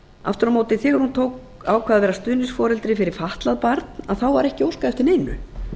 aftur á móti þegar hún ákvað að vera stuðningsforeldri fyrir fatlað barn þá var ekki óskað eftir neinu